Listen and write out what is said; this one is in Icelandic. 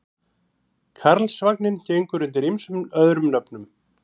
Karlsvagninn gengur undir ýmsum öðrum nöfnum.